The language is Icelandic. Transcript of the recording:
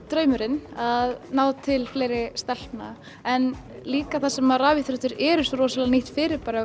draumurinn að ná til fleiri stelpna en líka þar sem að rafíþróttir eru svo rosalega nýtt fyrirbæri